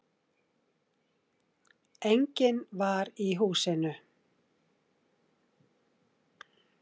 Enginn var í húsinu